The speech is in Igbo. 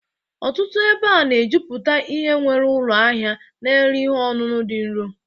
Ọtụtụ ebe a na-ejuputa ihe nwere ụlọ ahịa na-ere ihe ọṅụṅụ dị nro